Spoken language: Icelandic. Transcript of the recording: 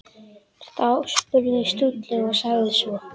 Þá spurði Stulli og sagði svo